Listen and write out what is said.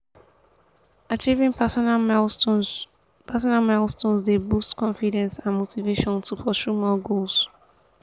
achieving personal milestones personal milestones dey boost confidence and motivation to pursue more goals.